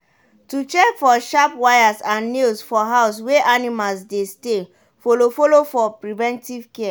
to check for sharp wires and nails for house wey animals dey stay follow follow for preventive care.